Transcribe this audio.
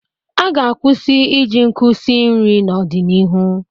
A ga-kwụsị iji nkụ si nri n'ọdịnihu.